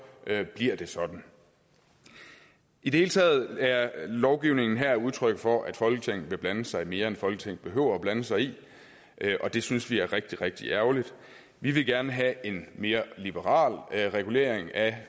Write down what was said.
bliver det sådan i det hele taget er lovgivningen her udtryk for at folketinget vil blande sig i mere end folketinget behøver at blande sig i og det synes vi er rigtig rigtig ærgerligt vi vil gerne have en mere liberal regulering af